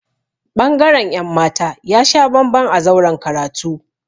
Ɓangaren ‘yan mata ya sha bamban a zauren karatu.